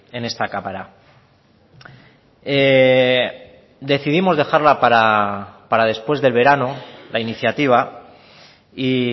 en esta cámara decidimos dejarla para después del verano la iniciativa y